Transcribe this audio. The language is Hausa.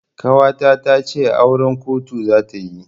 Ƙawata tace auran kotu zata yi.